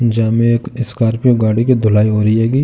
जेमे एक स्कार्पियो गाड़ी की धुलाई हो रही होगी।